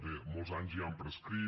bé molts anys ja han prescrit